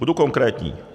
Budu konkrétní.